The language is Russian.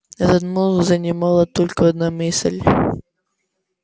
этот мозг занимала только одна мысль